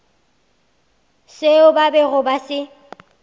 seo ba bego ba se